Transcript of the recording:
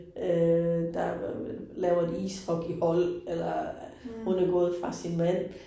Øh der laver et ishockeyhold eller. Hun er gået fra sin mand